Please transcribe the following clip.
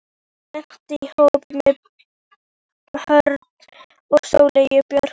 Ég lenti í hópi með Hrönn og Sóleyju Björk.